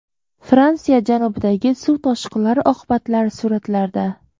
Fransiya janubidagi suv toshqinlari oqibatlari suratlarda.